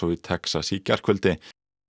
í Texas í gærkvöldi